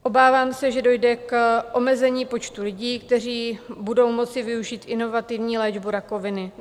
Obávám se, že dojde k omezení počtu lidí, kteří budou moci využít inovativní léčbu rakoviny.